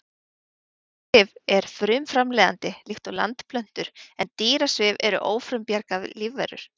Plöntusvif er frumframleiðandi líkt og landplöntur en dýrasvif eru ófrumbjarga lífverur.